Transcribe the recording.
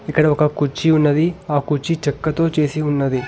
ఇక్కడ ఒక కుర్చీ ఉన్నది ఆ కుర్చీ చెక్కతో చేసి ఉన్నది.